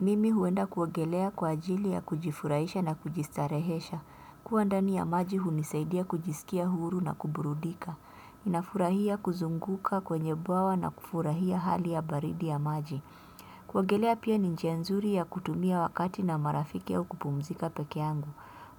Mimi huenda kuogelea kwa ajili ya kujifurahisha na kujistarehesha. Kuwa ndani ya maji hunisaidia kujisikia huru na kuburudika. Ninafurahia kuzunguka kwenye bwawa na kufurahia hali ya baridi ya maji. Kuogelea pia ni njia nzuri ya kutumia wakati na marafiki au kupumzika pekee yangu.